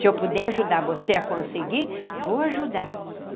Se eu puder ajudar você a conseguir, vou ajudar.